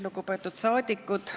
Lugupeetud saadikud!